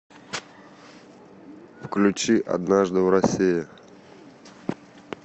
включи однажды в россии